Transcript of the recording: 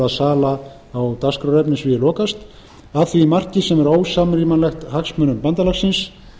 eða sala á dagskrárefni að því marki sem er ósamrýmanlegt hagsmunum bandalagsins